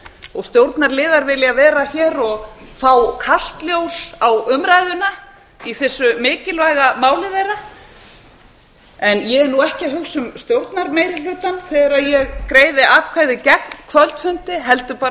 og stjórnarliðar vilja vera hér og fá kalt ljós á umræðuna í þessu mikilvæga máli þeirra en ég er ekki að hugsa um stjórnarmeirihlutann þegar ég greiði atkvæði gegn kvöldfundi heldur bara